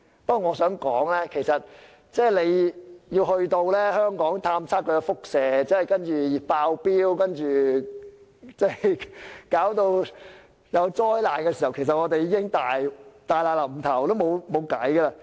不過，我想提出若要在香港進行輻射探測，查明有否"爆標"及是否瀕臨災難時，我們其實已大難臨頭，無路可逃。